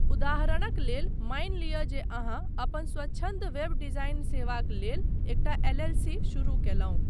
उदाहरणक लेल, मानि लिअ जे अहाँ अपन स्वच्छन्द वेब डिजाइन सेवाक लेल एकटा एल.एल.सी. शुरू कयलहुँ।